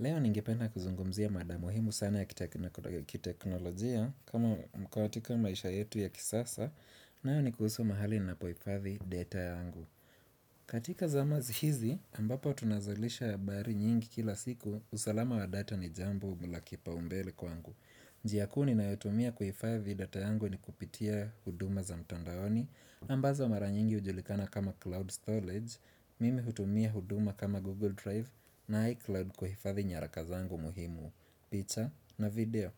Leo ningependa kuzungumzia mada muhimu sana ya kiteknolojia kama katika maisha yetu ya kisasa nayo ni kuhusu mahali ninapohifadhi data ya angu. Katika zama hizi ambapo tunazalisha habari nyingi kila siku usalama wa data ni jambo la kipaumbele kwangu. Njia kuu ninayotumia kuhifadhi data yangu ni kupitia huduma za mtandaoni ambazo maranyingi hujulikana kama Cloud Storage, Mimi hutumia huduma kama Google Drive na iCloud kuhifadhi nyarakazangu muhimu, picha na video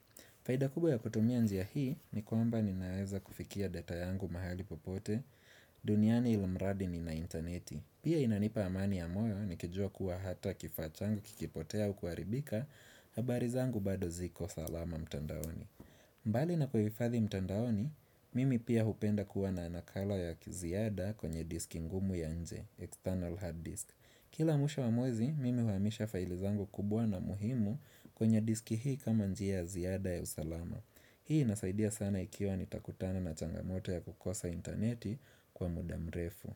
Faida kubwa ya kutumia njia hii ni kwamba ninaweza kufikia data yangu mahali popote duniani ilimradi ni na interneti Pia inanipa amani ya moyo ni kijua kuwa hata kifaa changu kikipotea au kuharibika habari zangu bado ziko salama mtandaoni mbali na kuhifadhi mtandaoni, mimi pia hupenda kuwa na nakala ya kiziada kwenye diski ngumu ya nje External hard disk. Kila mwisho wa mwezi, mimi huhamisha faili zangu kubwa na muhimu kwenye diski hii kama njia ziada ya usalama. Hii inasaidia sana ikiwa nitakutana na changamoto ya kukosa interneti kwa mudamrefu.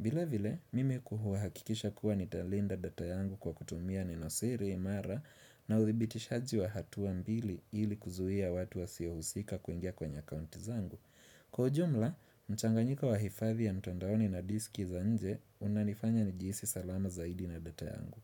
Vile vile, mimi kuhuhakikisha kuwa nitalinda data yangu kwa kutumia nenosiri imara na udhitishaji wa hatua mbili ili kuzuia watu wasiohusika kuingia kwenye account zangu. Kwa ujumla, mchanganyiko wa hifadhi ya mtondaoni na diski za nje unanifanya ni jihisi salama zaidi na data yangu.